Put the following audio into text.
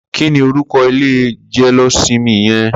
Kini órúkọ̀ ilé jẹléósìmì yèn?